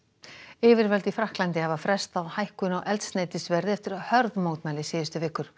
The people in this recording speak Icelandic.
yfirvöld í Frakklandi hafa frestað hækkun á eldsneytisverði eftir hörð mótmæli síðustu vikur